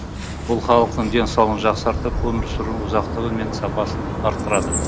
бұл халықтың денсаулығын жақсартып өмір сүру ұзақтығы мен сапасын арттырады